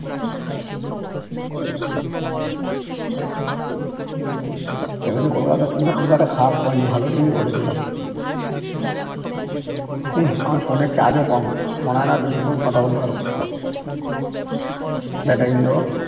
এবছর কলকাতার team টা খুব একটা খারাপ করেনি ভালো team ই করেছে হম্ম আমার phone এ charge ও কম মনে হয় না বেশিক্ষন কথা বলতে পারবো battery low